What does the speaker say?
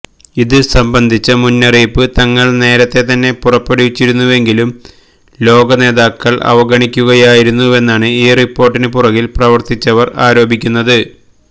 ഇത് സംബന്ധിച്ച മുന്നറിയിപ്പ് തങ്ങള് നേരത്തെ തന്നെ പുറപ്പെടുവിച്ചിരുന്നുവെങ്കിലും ലോക നേതാക്കള് അവഗണിക്കുകയായിരുന്നുവെന്നാണ് ഈ റിപ്പോര്ട്ടിന് പുറകില് പ്രവര്ത്തിച്ചവര് ആരോപിക്കുന്നത്